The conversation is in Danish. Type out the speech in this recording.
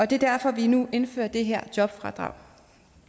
det er derfor at vi nu indfører det her jobfradrag